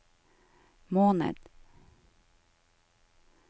måned